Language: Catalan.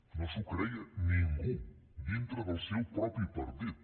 no s’ho creia ningú dintre del seu propi partit